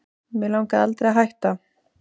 Mig langaði aldrei að hætta